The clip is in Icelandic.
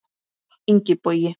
Ingi Bogi.